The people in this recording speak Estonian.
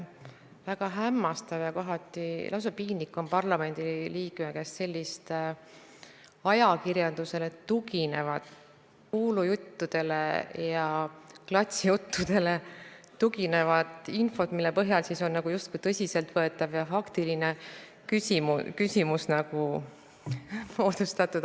Väga hämmastav ja kohati lausa piinlik on parlamendi liikme käest kuulda sellist ajakirjandusele tuginevat, kuulujuttudele ja klatšile tuginevat infot, mille põhjal on justkui tõsiseltvõetav ja faktiline küsimus moodustatud.